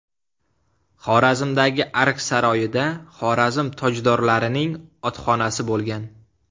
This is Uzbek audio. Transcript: Xorazmdagi Ark saroyida Xorazm tojdorlarining otxonasi bo‘lgan.